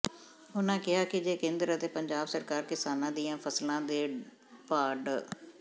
ਉਨ੍ਹਾਂ ਕਿਹਾ ਕਿ ਜੇ ਕੇਂਦਰ ਅਤੇ ਪੰਜਾਬ ਸਰਕਾਰ ਕਿਸਾਨਾਂ ਦੀਆਂ ਫਸਲਾਂ ਦੇ ਭਾਅ ਡਾ